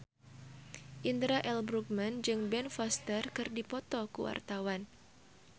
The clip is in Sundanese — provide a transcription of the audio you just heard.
Indra L. Bruggman jeung Ben Foster keur dipoto ku wartawan